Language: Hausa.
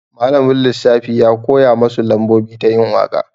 Malamin ilimin lissafi ya koya masu lambobi ta yin waka.